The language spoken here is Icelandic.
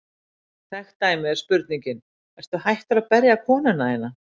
Þekkt dæmi er spurningin: Ertu hættur að berja konuna þína?